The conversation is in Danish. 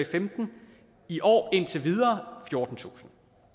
femten i år indtil videre fjortentusind